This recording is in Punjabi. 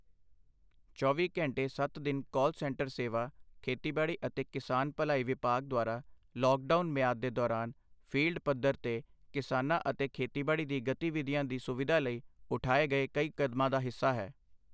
ਚੌਵੀ ਘੰਟੇ ਸੱਤ ਦਿਨ ਕਾਲ ਸੈਂਟਰ ਸੇਵਾ ਖੇਤੀਬਾੜੀ ਅਤੇ ਕਿਸਾਨ ਭਲਾਈ ਵਿਭਾਗ ਦੁਆਰਾ ਲੌਕਡਾਊਨ ਮਿਆਦ ਦੇ ਦੌਰਾਨ ਫੀਲਡ ਪੱਧਰ ਤੇ ਕਿਸਾਨਾਂ ਅਤੇ ਖੇਤੀਬਾੜੀ ਦੀ ਗਤੀਵਿਧੀਆਂ ਦੀ ਸੁਵਿਧਾ ਲਈ ਉਠਾਏ ਗਏ ਕਈ ਕਦਮਾਂ ਦਾ ਹਿੱਸਾ ਹੈ।